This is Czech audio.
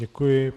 Děkuji.